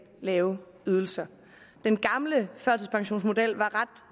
lave ydelser den gamle førtidspensionsmodel var ret